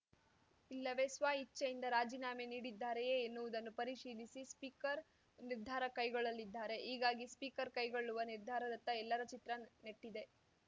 ಇಲ್ಲವೇ ಸ್ವಇಚ್ಛೆಯಿಂದ ರಾಜೀನಾಮೆ ನೀಡಿದ್ದಾರೆಯೇ ಎನ್ನುವುದನ್ನು ಪರಿಶೀಲಿಸಿ ಸ್ಪೀಕರ್ ನಿರ್ಧಾರ ಕೈಗೊಳ್ಳಲಿದ್ದಾರೆ ಹೀಗಾಗಿ ಸ್ಪೀಕರ್ ಕೈಗೊಳ್ಳುವ ನಿರ್ಧಾರದತ್ತ ಎಲ್ಲರ ಚಿತ್ರ ನೆಟ್ಟಿದೆ